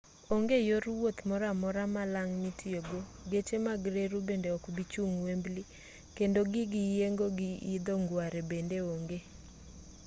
onge yor wuoth moro amora malang' mitiyogo geche mag reru bende okbi chung' wembley kendo gig yiengo gi idho ngware bende onge